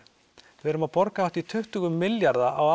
við erum að borga hátt í tuttugu milljarða á